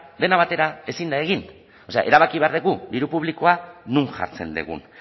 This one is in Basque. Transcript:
dena batera ezin da egin o sea erabaki behar dugu diru publikoa non jartzen dugun